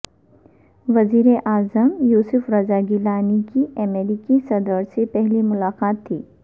وزیر اعظم یوسف رضا گیلانی کی امریکی صدر سے پہلی ملاقات تھی